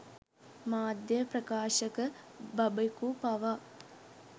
මාධ්‍ය ප්‍රකාශක බබෙකු පවා